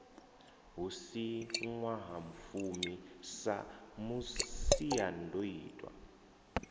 hu si ṅwahafumi sa masiandoitwa